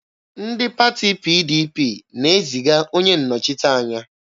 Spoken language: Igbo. Ndị pati PDP na-eziga onye nnọchiteanya.